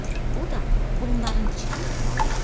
O da onların içində olmalı idi.